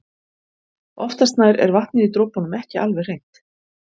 Oftast nær er vatnið í dropunum ekki alveg hreint.